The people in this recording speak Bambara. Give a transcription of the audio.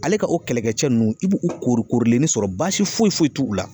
Ale ka o kɛlɛkɛcɛ nunnu i b'u korikorilen sɔrɔ baasi foyi t'u la